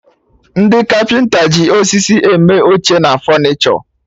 Ndị Kapịnta ji osisi eme oche na fọnichọ